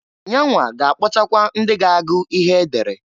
Yanwa ga-akpọtakwa ndị ga-agụ ihe edere.